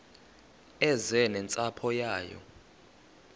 eze nentsapho yayo